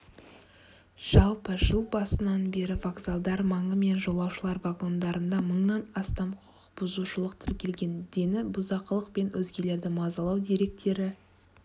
жалпы жыл басынан бері вокзалдар маңы мен жолаушылар вагондарында мыңнан астам құқықбұзушылық тіркелген дені бұзақылық пен өзгелерді мазалау деректері